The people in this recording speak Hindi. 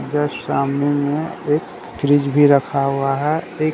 जस्ट सामने में एक फ्रीज भी रखा हुआ है एक--